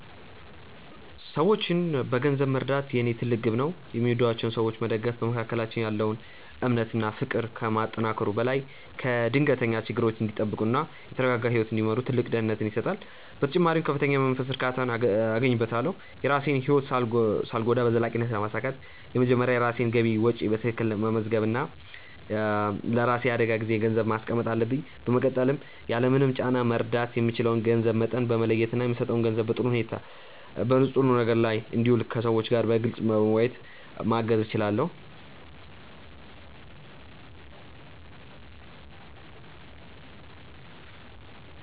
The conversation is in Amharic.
ሰዎችን በገንዘብ መርዳት የኔ ትልቅ ግብ ነው። የሚወዷቸውን ሰዎች መደገፍ በመካከላችን ያለውን እምነት እና ፍቅር ከማጠናከሩ በላይ ከድንገተኛ ችግሮች እንዲጠበቁ እና የተረጋጋ ህይወት እንዲመሩ ትልቅ ደህንነትን ይሰጣል። በተጨማሪም ከፍተኛ የመንፈስ እርካታን አገኝበታለሁ። የራሴን ህይወት ሳልጎዳ በዘላቂነት ለማሳካት መጀመሪያ የራሴን ገቢና ወጪ በትክክል መመዝገብ እና ለራሴ የአደጋ ጊዜ ገንዘብ ማስቀመጥ አለብኝ። በመቀጠልም ያለምንም ጫና መርዳት የምችለውን የገንዘብ መጠን በመለየት እና የምሰጠው ገንዘብ በጥሩ ነገር ላይ እንዲውል ከሰዎቹ ጋር በግልፅ በመወያየት ማገዝ እችላለሁ።